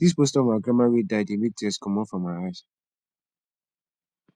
dis poster of my grandmama wey die dey make tears comot from my eyes